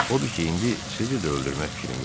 Odur ki, indi sizi də öldürmək fikrim yoxdur.